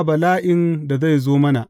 Ba bala’in da zai zo mana.